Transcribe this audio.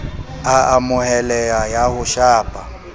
a amoheleha ya ho shapa